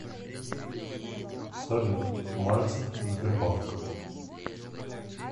салют мальцев сбербанк